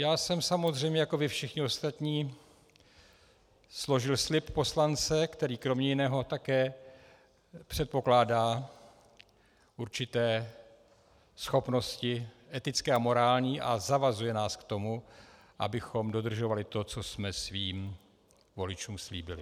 Já jsem samozřejmě jako vy všichni ostatní složil slib poslance, který kromě jiného také předpokládá určité schopnosti etické a morální a zavazuje nás k tomu, abychom dodržovali to, co jsme svým voličům slíbili.